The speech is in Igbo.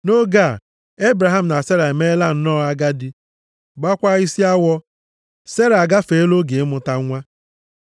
Nʼoge a, Ebraham na Sera emeela nnọọ agadi, gbaakwa isi awọ. Sera agafeela oge ịmụta nwa.